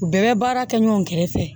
U bɛɛ bɛ baara kɛ ɲɔgɔn kɛrɛfɛ